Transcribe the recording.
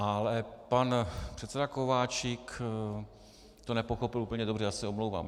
Ale pan předseda Kováčik to nepochopil úplně dobře, já se omlouvám.